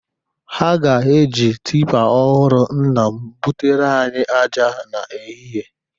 Ha ga-eji tipa ọhụrụ nna m bụtere anyị aja n'ehihe.